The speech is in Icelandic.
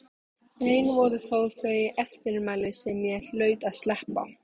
Ein voru þó þau eftirmæli sem ég hlaut að sleppa.